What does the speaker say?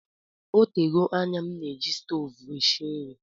Ọ tego anya m na-eji stovu esi nri